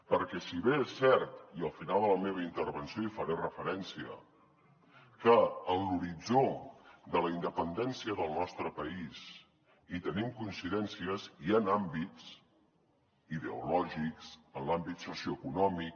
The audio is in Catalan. perquè si bé és cert i al final de la meva intervenció hi faré referència que en l’horitzó de la independència del nostre país hi tenim coincidències hi han àmbits ideològics en l’àmbit socioeconòmic